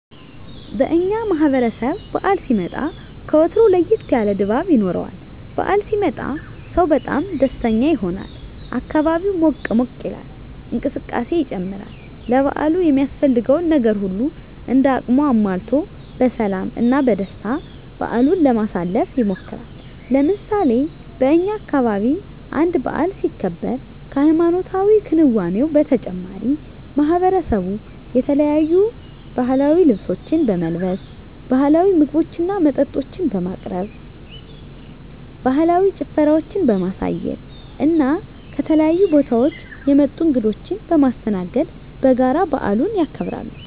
በእኛ ማህበረሰብ በዓል ሲመጣ ከወትሮው ለየት ያለ ድባብ ይኖረዋል። በዓል ሲመጣ ሰው በጣም ደስተኛ ይሆናል፣ አካባቢው ሞቅ ሞቅ ይላል፣ እንቅስቃሴ ይጨምራል፣ ለበዓሉ የሚያስፈልገውን ነገር ሁሉም እንደ አቅሙ አሟልቶ በሰላም እና በደስታ በዓሉን ለማሳለፍ ይሞክራል። ለምሳሌ በእኛ አካባቢ አንድ በዓል ሲከበር ከሀይማኖታዊ ክንዋኔው በተጨማሪ ማሕበረሰቡ የተለያዩ ባህላዊ ልብሶችን በመልበስ፣ ባህላዊ ምግቦችና መጠጦችን በማቅረብ፣ ባህላዊ ጭፈራዎችን በማሳየት፣ ከተለያዩ ቦታወች የመጡ እንግዶችን በማስተናገድ በጋራ በዓሉን ያከብራሉ።